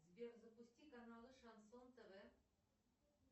сбер запусти каналы шансон тв